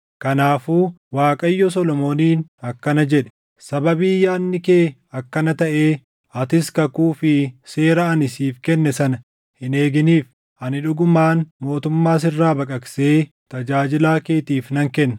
Kanaafuu Waaqayyo Solomooniin akkana jedhe; “Sababii yaadni kee akkana taʼee, atis kakuu fi seera ani siif kenne sana hin eeginiif, ani dhugumaan mootummaa sirraa baqaqsee tajaajilaa keetiif nan kenna.